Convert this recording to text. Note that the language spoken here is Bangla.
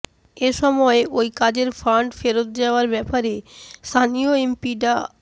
এ সময় ওই কাজের ফান্ড ফেরত যাওয়ার ব্যাপারে স্থানীয় এমপি ডা